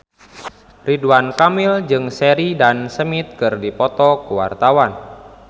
Ridwan Kamil jeung Sheridan Smith keur dipoto ku wartawan